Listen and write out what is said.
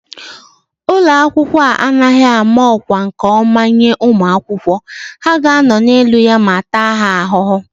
Ụlọ akwụkwọ a anaghị ámá ọkwá nke ọma enye ụmụ akwụkwọ, ha ga anọ n'elu ya ma taa ha ahụhụ